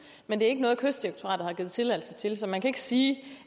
men det er ikke noget kystdirektoratet har givet tilladelse til så man kan ikke sige